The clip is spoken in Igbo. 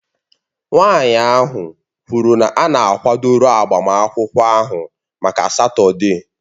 Nwanyị ahụ kwuru na a na-akwadoro agbamakwụkwọ ahụ maka Satọde